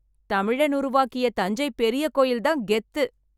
தமிழன் உருவாக்கிய தஞ்சை பெரிய கோயில் தான் கெத்து.